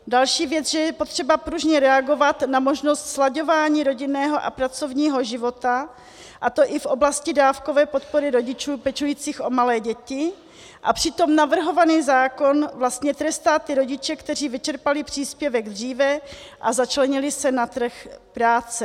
Další věc, že je potřeba pružně reagovat na možnost slaďování rodinného a pracovního života, a to i v oblasti dávkové podpory rodičů pečujících o malé děti, a přitom navrhovaný zákon vlastně trestá ty rodiče, kteří vyčerpali příspěvek dříve a začlenili se na trh práce.